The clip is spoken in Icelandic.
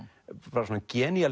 bara svona